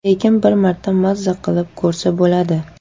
Lekin bir marta maza qilib ko‘rsa bo‘ladi.